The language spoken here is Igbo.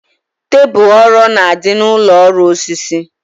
Tebul ọrọ na-adị n'ụlọ ọrụ osisi